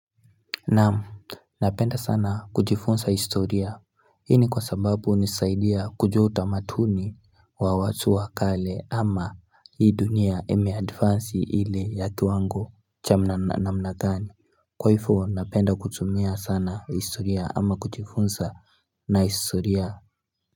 Naam, napenda sana kujifunsa historia, ini kwa sababu nisaidia kujua utamatuni wa watu wakale ama hii dunia eme advance ili ya kiwango cha mna mna gani, kwaifu napenda kutumia sana historia ama kujifunsa na historia.